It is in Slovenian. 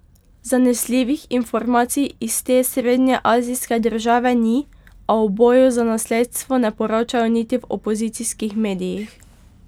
Zanesljivih informacij iz te srednjeazijske države ni, a o boju za nasledstvo ne poročajo niti v opozicijskih medijih.